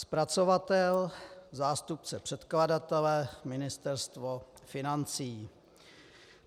Zpracovatel, zástupce předkladatele: Ministerstvo financí.